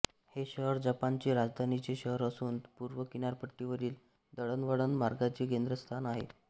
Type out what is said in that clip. हे शहर जपानची राजधानीचे शहर असून पूर्व किनारपट्टीवरील दळणवळण मार्गाचे केंद्रस्थान आहे